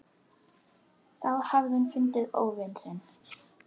Þá hafði hún fundið óvin sinn.